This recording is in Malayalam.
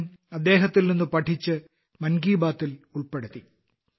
ഞാനും അദ്ദേഹത്തിൽ നിന്ന് പഠിച്ച് മൻ കി ബാത്തിൽ ഉൾപ്പെടുത്തി